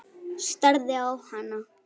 Starði á hana.